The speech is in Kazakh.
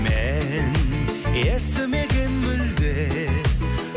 мен естімеген мүлде